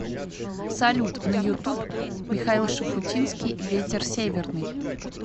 салют на ютуб михаил шуфутинский ветер северный